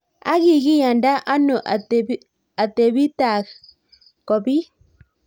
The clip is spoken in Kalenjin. Ak kikiyanda anoo atepitaak kopiit?